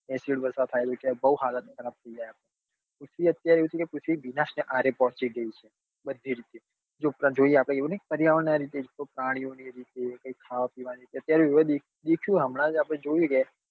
બઉ સારા અત્યારે બધું રીતે જો આપડે એવું નહિ કે પર્યાવરણ નાં લીધે કે પ્રાણીઓના લીધે કે કોક ખાવા પીવા ના